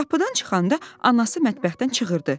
Qapıdan çıxanda anası mətbəxdən çığırdı.